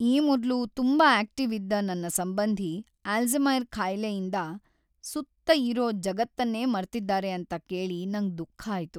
ಈ ಮೊದ್ಲು ತುಂಬಾ ಆಕ್ಟಿವ್ ಇದ್ದ ನನ್ ಸಂಬಂಧಿ ಅಲ್ಝೈಮರ್ ಕಾಯಿಲೆಯಿಂದ್ ಸುತ್ತ ಇರೋ ಜಗತ್ತನ್ನೇ ಮರ್ತಿದ್ದಾರೆ ಅಂತ ಕೇಳಿ ನಂಗ್ ದುಃಖ ಆಯ್ತು.